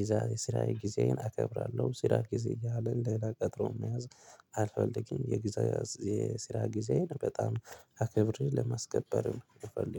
ይዛ የስራ ጊዜዬን አከብራለሁ ስራ ጊዜ እያለ እንደገና ቀጥሮ መያዝ አልፈልግም። የጊዜ የስራ ጊዜዬን በጣም አክብሬ ለማስከበር ነው ምፈልገው